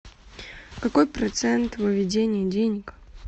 какой процент выведения денег